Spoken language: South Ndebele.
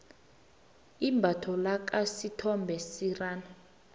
imbatho lakha isithombe senarha